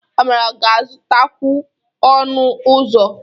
Amara ga-azụtakwu ọnụ ụzọ.